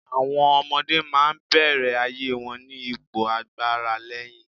Àwọm ọmọdé máa ń bẹ̀rẹ̀ ayé wọn ní ipò agbáraléni.